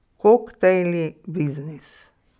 Koktejli, biznis.